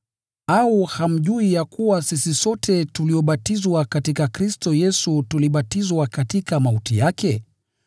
Au hamjui ya kuwa sisi sote tuliobatizwa katika Kristo Yesu tulibatizwa katika mauti yake?